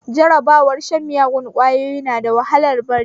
Jarabar shan miyagun ƙwayoyi na da wahalar bari